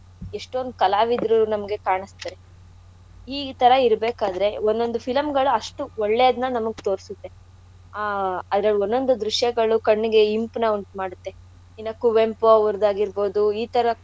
ಎಷ್ಟೋಂದ್ ಕಾಲಾವಿದ್ರು ನಮ್ಗೆ ಕಾಣ ಈ ಥರ ಇರ್ಬೇಕಾದ್ರೆ ಒನ್ನಂದು film ಗಳು ಅಷ್ಟು ಒಳ್ಳೆದ್ನ ನಮಿಗ್ ತೋರ್ಸತ್ತೆ ಆಹ್ ಅದ್ರಲ್ಲಿ ಒನ್ದೊಂದು ದ್ರುಶ್ಯಗಳು ಕಣ್ಣಿಗೆ ಇಂಪ್ನ ಉಂಟುಮಾಡುತ್ತೆ. ಈಗ ಕುವೆಂಪು ಅವ್ರದ್ ಆಗಿರ್ಬೋದು ಈಥರ.